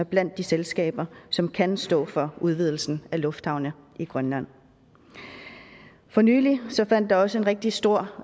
blandt de selskaber som kan stå for udvidelsen af lufthavne i grønland for nylig fandt der også en rigtig stor